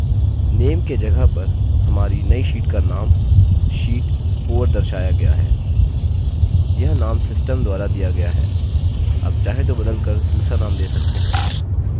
name के जगह पर हमारी name sheet का name sheet 4 दर्शाया गया है यह name system द्वारा दिया गया है आप चाहें तो बदल कर दूसरा name दे सकते हैं